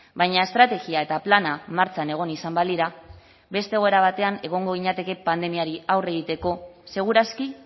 baina estrategia eta plana martxan egon izan balira beste egoera batean egongo ginateke pandemia aurre egiteko seguraski